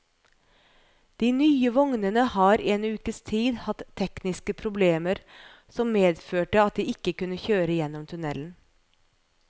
De nye vognene har i en ukes tid hatt tekniske problemer som medførte at de ikke kunne kjøre gjennom tunnelen.